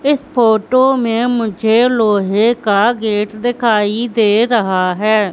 इस फोटो में मुझे लोहे का गेट दिखाई दे रहा है।